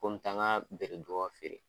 Ko me taa n ka bereduga feere